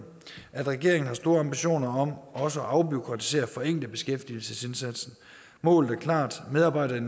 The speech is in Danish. at regeringen har store ambitioner om også at afbureaukratisere og forenkle beskæftigelsesindsatsen målet er klart medarbejdere i